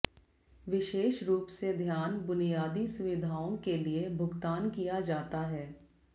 विशेष रूप से ध्यान बुनियादी सुविधाओं के लिए भुगतान किया जाता है